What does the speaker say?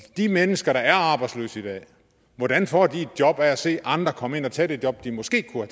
de mennesker der er arbejdsløse i dag hvordan får de et job af at se andre komme ind og tage det job de måske kunne